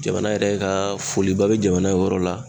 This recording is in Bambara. Jamana yɛrɛ kaa foliba be jamana ye o yɔrɔ la